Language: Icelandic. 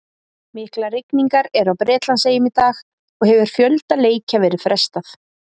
Miklar rigningar eru á Bretlandseyjum í dag og hefur fjölda leikja verið frestað.